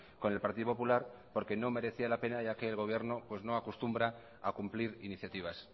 con el partido popular porque no merecía la pena ya que el gobierno pues no acostumbra a cumplir iniciativas